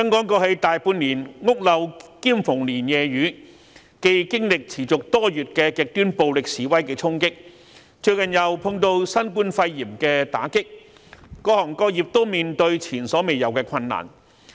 過去大半年，香港屋漏兼逢連夜雨，既經歷持續多月極端暴力示威的衝擊，最近又碰到新冠肺炎的打擊，各行各業均面對前所未有的困難。